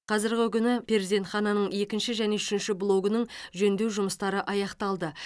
қазіргі күні перзентхананың екінші және үшінші блогының жөндеу жұмыстары аяқталды